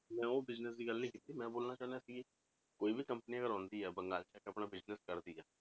ਮੈਂ ਉਹ business ਦੀ ਗੱਲ ਨੀ ਕੀਤੀ ਮੈਂ ਬੋਲਣਾ ਚਾਹੁੰਦਾ ਕਿ ਕੋਈ ਵੀ company ਅਗਰ ਆਉਂਦੀ ਹੈ ਬੰਗਾਲ 'ਚ ਆ ਕੇ ਆਪਣਾ business ਕਰਦੀ ਹੈ,